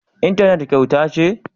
Intanet kyauta ce?